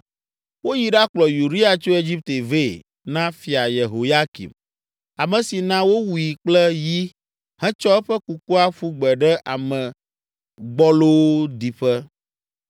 Woyi ɖakplɔ Uria tso Egipte vɛ na Fia Yehoyakim, ame si na wowui kple yi hetsɔ eƒe kukua ƒu gbe ɖe ame gbɔlowo ɖiƒe.)